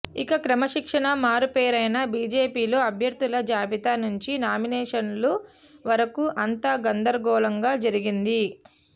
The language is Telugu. ఇక క్రమశిక్షణ మారుపేరైన బీజేపీలో అభ్యర్థుల జాబితా నుంచి నామినేషన్ల వరకూ అంతా గందరగోళంగా జరిగింది